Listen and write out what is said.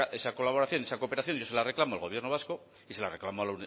esa colaboración esa cooperación yo se la reclamo al gobierno vasco y se la reclamo a